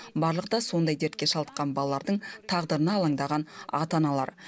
барлығы да сондай дертке шалдыққан балалардың тағдырына алаңдаған ата аналар